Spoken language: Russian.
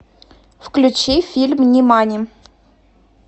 включи фильм нимани